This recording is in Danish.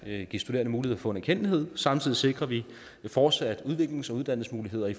at give studerende mulighed få en erkendtlighed samtidig sikrer vi fortsat udviklings og uddannelsesmuligheder i